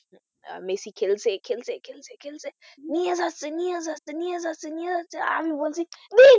Messi খেলছে, খেলছে, খেলছে, খেলছে নিয়ে যাচ্ছে, নিয়ে যাচ্ছে, নিয়ে যাচ্ছে, নিয়ে যাচ্ছে আর আমি বলছি এই,